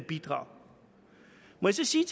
må så sige